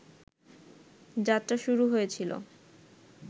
যাত্রা শুরু হয়েছিল